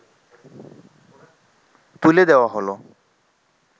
তুলে দেওয়া হলো